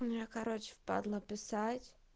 мне короче впадлу писать